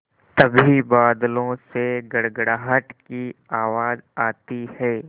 तभी बादलों से गड़गड़ाहट की आवाज़ आती है